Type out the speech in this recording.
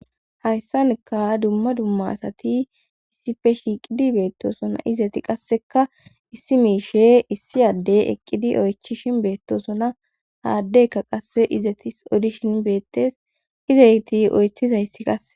Hayssanikka dumma dumma asati issife shiiqidi beettosona izati qasseka issi miishe issi addey eqqidi oychishin beettosona haaddeykka qasse izatis odishin beettes izeyti oythizayssi qase